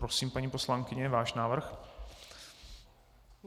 Prosím, paní poslankyně, váš návrh?